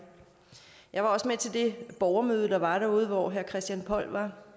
jeg var også med til det borgermøde der var derude hvor herre christian poll